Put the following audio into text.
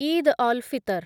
Eid al Fitr